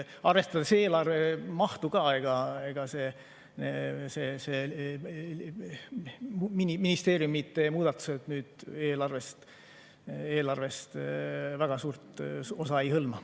Arvestades eelarve mahtu, ega need ministeeriumide muudatused eelarvest väga suurt osa ei hõlma.